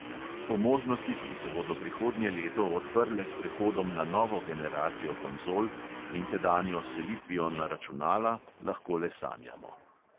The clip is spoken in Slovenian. O možnostih, ki se bodo prihodnje leto odprle s prehodom na novo generacijo konzol in tedanjo selitvijo na računala, lahko le sanjamo.